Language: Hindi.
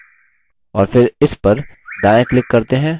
और फिर इस पर दायाँ click करते हैं